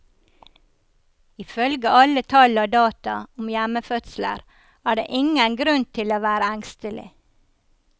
Ifølge alle tall og data om hjemmefødsler er det ingen grunn til å være engstelig.